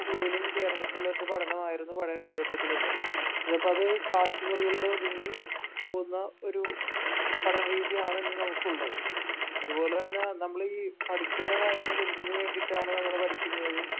കൂടുതലും ചേർന്നിട്ടുള്ള പടനമാണ് പഴയ കാലഘട്ടത്തില്ഉ ള്ളത്ഇ ന്നിപ്പോ അത് ക്ലാസ് മുറികളില് ഒതുങ്ങി പോകുന്ന ഒരു പഠന രീതിയാണ് നമുക്കുള്ളത്. അത് പോലെ തന്നെ പാടിക്കുന്ന കാര്യങ്ങൾ എന്തിന് വേണ്ടിയിട്ടാണ് നമ്മൾ പടിക്കുന്നത് എന്നും